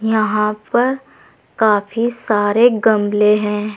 यहां पर काफी सारे गमले हैं।